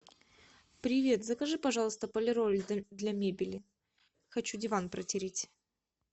привет закажи пожалуйста полироль для мебели хочу диван протереть